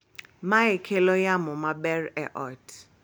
Mae kelo yamo maber e ot